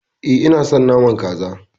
E, ina son naman Kaza.